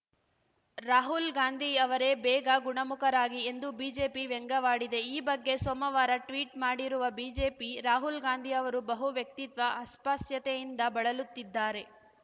ರಾಹುಲ್‌ ಗಾಂಧಿ ಅವರೇ ಬೇಗ ಗುಣಮುಖರಾಗಿ ಎಂದು ಬಿಜೆಪಿ ವ್ಯಂಗ್ಯವಾಡಿದೆ ಈ ಬಗ್ಗೆ ಸೋಮವಾರ ಟ್ವೀಟ್‌ ಮಾಡಿರುವ ಬಿಜೆಪಿ ರಾಹುಲ್‌ ಗಾಂಧಿ ಅವರು ಬಹು ವ್ಯಕ್ತಿತ್ವ ಅಸ್ಪಸ್ಯೆತೆಯಿಂದ ಬಳಲುತ್ತಿದ್ದಾರೆ